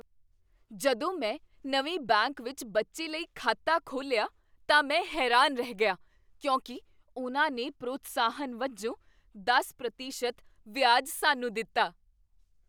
ਜਦੋਂ ਮੈਂ ਨਵੇਂ ਬੈਂਕ ਵਿੱਚ ਬੱਚੇ ਲਈ ਖਾਤਾ ਖੋਲ੍ਹਿਆ ਤਾਂ ਮੈਂ ਹੈਰਾਨ ਰਹਿ ਗਿਆ ਕਿਉਂਕਿ ਉਨ੍ਹਾਂ ਨੇ ਪ੍ਰੋਤਸਾਹਨ ਵਜੋਂ ਦਸ ਪ੍ਰਤੀਸ਼ਤ ਵਿਆਜ ਸਾਨੂੰ ਦਿੱਤਾ